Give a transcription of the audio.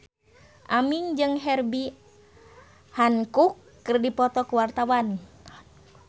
Aming jeung Herbie Hancock keur dipoto ku wartawan